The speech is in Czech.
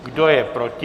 Kdo je proti?